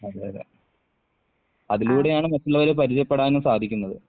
അതെ അതെ അതിലൂടെയാണ് മറ്റുള്ളവരെ പരിചയപ്പെടാനും സാധിക്കുന്നത്.